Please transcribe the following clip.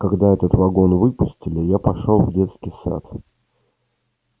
когда этот вагон выпустили я пошёл в детский сад